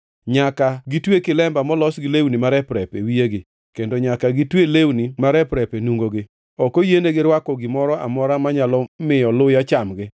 Nyaka gitwe kilemba molos gi lewni marep-rep e wiyegi, kendo nyaka gitwe lewni marep-rep e nungogi. Ok oyienigi rwako gimoro amora manyalo miyo luya chamgi.